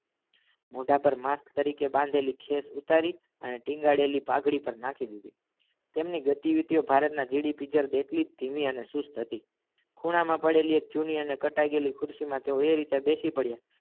મોઢા પર માસ્ક તરીકે બાંધેલી ખેશ ઉતારી અને ટિંગાડેલી પગઢી પર નાખી દીધી તમની ગતિવિતી ભારત ના જેટલીજ ધીમી અને સુસ્ત હતી ખૂણા મા પડાળી જૂની અને કટાય ગયેલી ખુરચી એ રીતે બેસી પડીયા